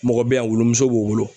Mɔgɔ be yan wulu muso b'o bolo